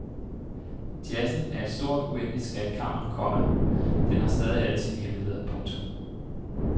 Jazzen er et stort uendeligt skatkammer, komma den har stadig alle sine hemmeligheder. punktum